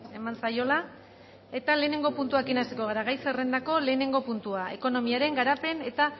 eman zaiola lehenengo puntuarekin hasiko gara gai zerrendako lehenengo puntua ekonomiaren garapen eta